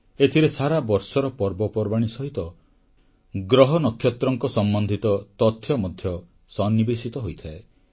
ଏଥିରେ ସାରାବର୍ଷର ପର୍ବପର୍ବାଣୀ ସହିତ ଗ୍ରହନକ୍ଷତ୍ରଙ୍କ ସମ୍ବନ୍ଧିତ ତଥ୍ୟ ମଧ୍ୟ ସନ୍ନିବେଶିତ ହୋଇଥାଏ